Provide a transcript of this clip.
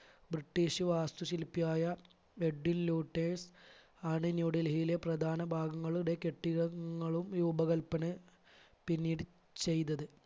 british വാസ്തു ശില്പിയായ Edwin Lutyens ആണ് ന്യൂഡൽഹിയിലെ പ്രധാന ഭാഗങ്ങളുടെ കെട്ടിടങ്ങളും രൂപകല്പന പിന്നീട് ചെയ്തത്.